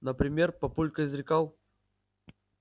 например папулька изрекал